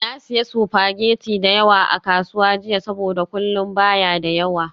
Na sayi spaghetti da yawa a kasuwa jiya saboda kullun ba ya da yawa.